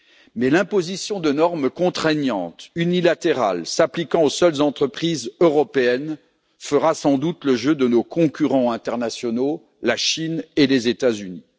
Mais l'imposition de normes contraignantes unilatérales s'appliquant aux seules entreprises européennes fera sans doute le jeu de nos concurrents internationaux, à savoir la Chine et les États Unis.